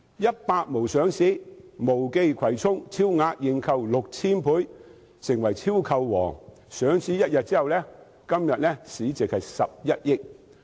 "100 毛"的母公司毛記葵涌有限公司上市，超額認購 6,000 倍，成為"超購王"，上市1天後，其市值是11億元。